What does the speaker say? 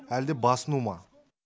әлде басыну ма